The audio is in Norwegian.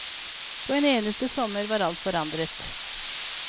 På en eneste sommer var alt forandret.